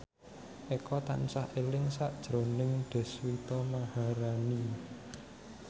Eko tansah eling sakjroning Deswita Maharani